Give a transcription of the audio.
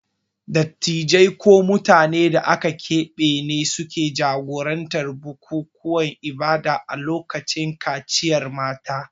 Dattijai ko mutanen da aka keɓe ne ke jagorantar bukukuwan ibada a lokacin kaciyar mata.